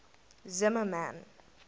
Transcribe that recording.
zimmermann